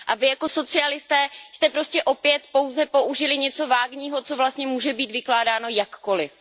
Vy jako socialisté jste prostě opět pouze použili něco vágního, co vlastně může být vykládáno jakkoliv.